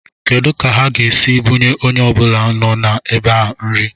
Kedu ka ha ga-esi bunye onye ọbụla nọ n'ebe a nri?